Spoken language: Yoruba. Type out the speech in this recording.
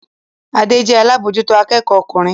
Adé jẹ́ alábòójútó akẹ́kọ̀ọ́ ọkùnrin